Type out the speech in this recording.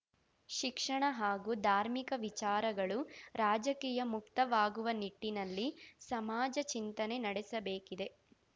ಶಿಕ್ಷಣ ಹಾಗೂ ಧಾರ್ಮಿಕ ವಿಚಾರಗಳು ರಾಜಕೀಯ ಮುಕ್ತವಾಗುವ ನಿಟ್ಟಿನಲ್ಲಿ ಸಮಾಜ ಚಿಂತನೆ ನಡೆಸಬೇಕಿದೆ